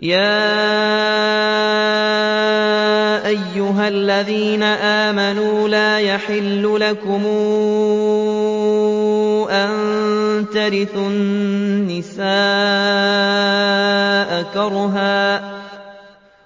يَا أَيُّهَا الَّذِينَ آمَنُوا لَا يَحِلُّ لَكُمْ أَن تَرِثُوا النِّسَاءَ كَرْهًا ۖ